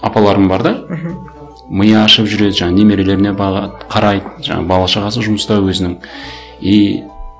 апаларым бар да мхм миы ашып жүреді жаңа немерелеріне бағады қарайды жаңағы бала шағасы жұмыста өзінің и